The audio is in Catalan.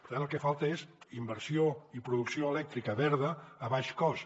per tant el que falta és inversió i producció elèctrica verda a baix cost